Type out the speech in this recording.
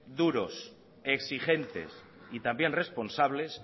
duros exigentes y también responsables